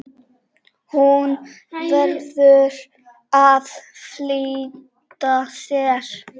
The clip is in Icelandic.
Hún verður að flýta sér.